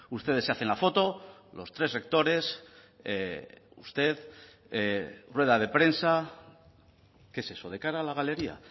ustedes se hacen la foto los tres sectores usted rueda de prensa qué es eso de cara a la galería